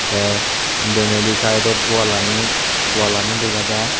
te denedi side dod wall lanit wall ani dega jai.